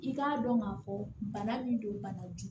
I k'a dɔn k'a fɔ bana min don bana ju